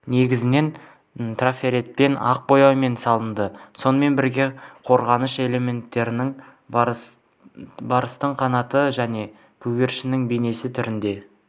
негізінен трафаретпен ақ бояумен салынды сонымен бірге қорғаныш элементінің барыстың қанаты және көгершіннің бейнесі түрінде